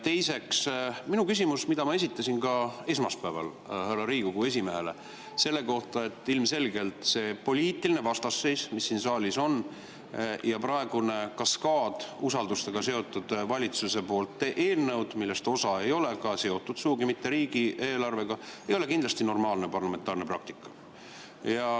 Teiseks, minu küsimus, mille ma esitasin ka esmaspäeval härra Riigikogu esimehele selle kohta, et ilmselgelt see poliitiline vastasseis, mis siin saalis on, ja praegune kaskaad valitsuse usaldusega seotud eelnõusid, millest osa ei ole sugugi seotud riigieelarvega, ei ole normaalne parlamentaarne praktika.